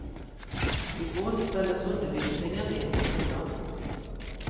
I går ställdes undervisningen in på skolan.